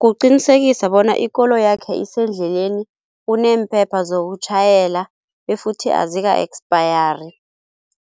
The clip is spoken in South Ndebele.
Kuqinisekisa bona ikoloyakhe isendleleni, uneemphepha zokutjhayela befuthi azika-expiry,